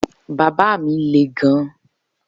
Baba mi le gan